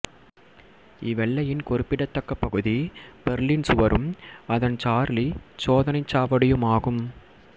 இவ்வெல்லையின் குறிப்பிடத்தக்க பகுதி பெர்லின் சுவரும் அதன் சார்லி சோதனைச் சாவடியுமாகும்